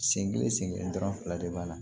Sen kelen sen kelen dɔrɔn fila de b'a la